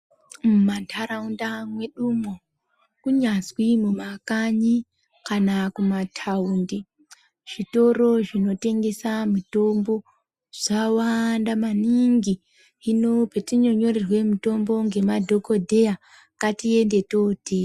Mumanharaunda mwedumo, kunyazwi mumakanyi kana kumataundi zvitoro zvinotengese mitombo zvawanda maningi , hino petinonyorerwe mitombo ngemadhokodheya ngatiende tootenga.